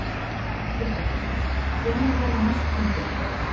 Fréttakona: Hvenær verða næstu fundir ykkar?